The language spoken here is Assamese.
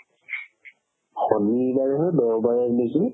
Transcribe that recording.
শনিবাৰ হয় দেওবাৰে নেকি